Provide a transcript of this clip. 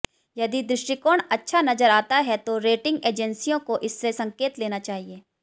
यदि दृष्टिकोण अच्छा नजर आता है तो रेटिंग एजेंसियों को इससे संकेत लेना चाहिए